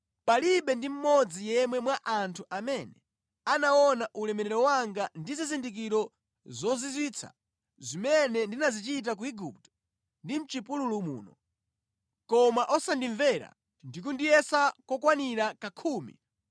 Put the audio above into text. palibe ndi mmodzi yemwe mwa anthu amene anaona ulemerero wanga ndi zizindikiro zozizwitsa zimene ndinazichita ku Igupto ndi mʼchipululu muno, koma osandimvera ndi kundiyesa kokwanira kakhumi,